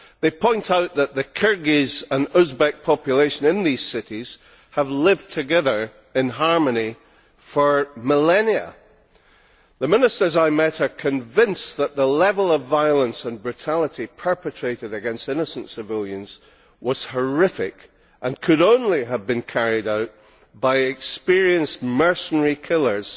They point out that the Kyrgyz and Uzbek population in these cities have lived together in harmony for millennia. The ministers I met are convinced that the level of violence and brutality perpetrated against innocent civilians was horrific and could only have been carried out by experienced mercenary killers